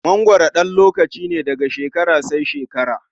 mangwaro ɗan lokaci ne, daga shekara sai shekara.